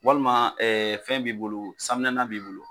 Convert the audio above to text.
Walima ɛ fɛn b'i bolo san minɛnan b'i bolo